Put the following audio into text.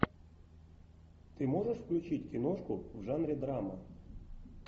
ты можешь включить киношку в жанре драма